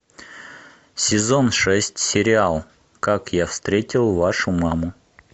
сезон шесть сериал как я встретил вашу маму